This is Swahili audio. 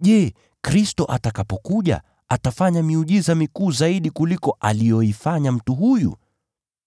“Je, Kristo atakapokuja, atafanya miujiza mikuu zaidi kuliko aliyoifanya mtu huyu?”